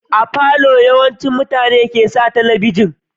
A falo yawancin mutane ke sa talabijin